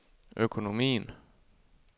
økonomien